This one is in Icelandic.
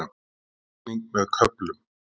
Rigning með köflum